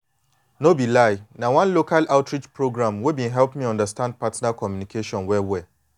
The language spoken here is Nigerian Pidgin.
no be lie na one local outreach program wey been help me understand partner communication well well